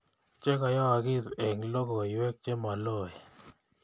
Chegayoogiis eng logoywek chemaloen